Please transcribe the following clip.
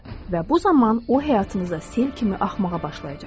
Və bu zaman o həyatınıza sel kimi axmağa başlayacaqdır.